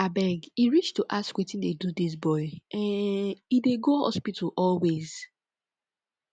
abeg e reach to ask wetin dey do dis boy um e dey go hospital always